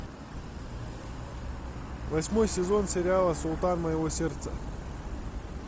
восьмой сезон сериала султан моего сердца